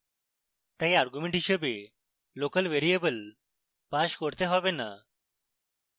তাই arguments হিসাবে local variable pass করতে have so